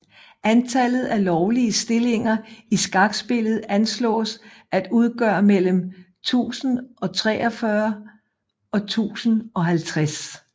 Antallet af lovlige stillinger i skakspillet anslås at udgøre mellem 1043 og 1050